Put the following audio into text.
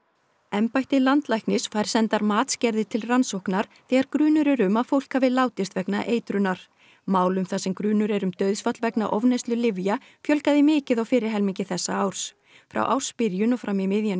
embætti landlæknis fær sendar matsgerðir til rannsóknar þegar grunur er um að fólk hafi látist vegna eitrunar málum þar sem grunur er um dauðsfall vegna ofneyslu lyfja fjölgaði mikið á fyrri helmingi þessa árs frá ársbyrjun og fram í miðjan